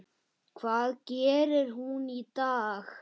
Hvað gerir hún í dag?